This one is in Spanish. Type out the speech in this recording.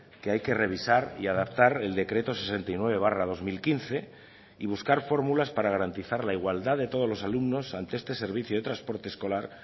que hay que revisar y adaptar el decreto sesenta y nueve barra dos mil quince y buscar fórmulas para garantizar la igualdad de todos los alumnos ante este servicio de transporte escolar